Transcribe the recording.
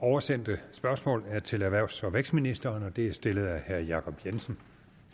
oversendte spørgsmål er til erhvervs og vækstministeren og det er stillet af herre jacob jensen